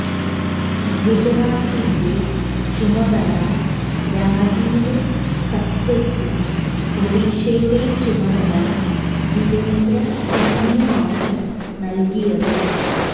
ഗുജറാത്തിന്റെ ചുമതല രാജീവ് സത്വക്കും ഒഡീഷയുടെ ചുമതല ജിതേന്ദ്ര സിങിനുമാണ് നല്കിയത്